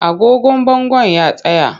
Agogon bangon ya tsaya.